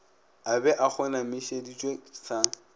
a be a kgonamišeditšwe sa